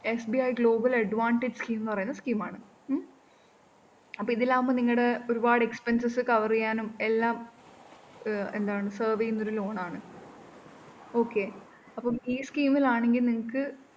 SBI global advantage scheme ന്നു പറയുന്ന scheme ആണ് ഉം അപ്പം ഇതിലാവുമ്പോ നിങ്ങടെ ഒരുപാട് expenses cover ചെയ്യാനും എല്ലാം ഏർ എന്താണ് service ഇതില്‍ on ആണ്. okay അപ്പം ഈ scheme ലാണെങ്കില്‍ നിങ്ങള്‍ക്ക്